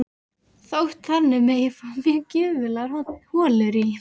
Þótt þannig megi fá mjög gjöfular holur í